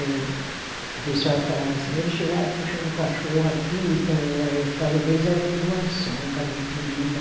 O pessoal falava assim, eles chegaram puxando o cachorro aqui, então as casas deles era tudo mansão, casa muito bonita.